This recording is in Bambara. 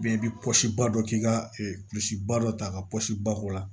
Bɛɛ i bɛ pɔsi ba dɔ k'i ka kulisi ba dɔ ta ka pɔsi bako la